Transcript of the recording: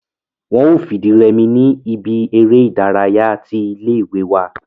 wọ́n o fìdírẹmi ní ibi eré ìdárayá tí ilé ìwé wa